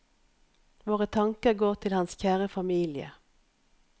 Våre tanker går til hans kjære familie.